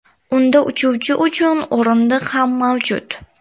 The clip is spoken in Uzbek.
Unda uchuvchi uchun o‘rindiq ham mavjud.